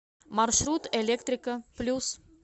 маршрут электрика плюс